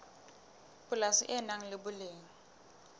polasi le nang le boleng